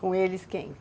Com eles quem?